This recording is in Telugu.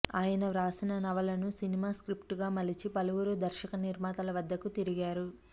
ఆయన వ్రాసిన నవలను సినిమా స్క్రిప్ట్గా మలిచి పలువురు దర్శకనిర్మాతల వద్దకు తిరిగారు